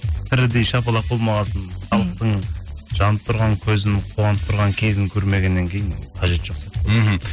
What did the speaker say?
тірідей шапалақ болмағасын мхм халықтың жанып тұрған көзін қуанып тұрған кезін көрмегенннен кейін қажеті жоқ сияқты мхм